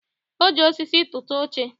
o ji osisi tụta oche.